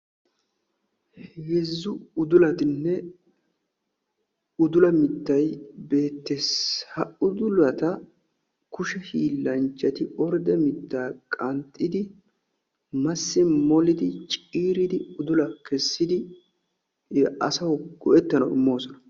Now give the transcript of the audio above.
heezzu uddulatinne udula mitay beetees. ha udulata kushe hiilanchchati ordde mittan qanxxidi masi molidi ciiridi udula kessidi asawu go'ettanawu imoosona.